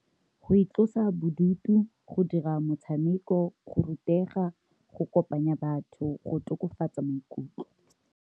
Go itlosa bodutu, go dira motshameko, go rutega, go kopanya batho go tokafatsa maikutlo.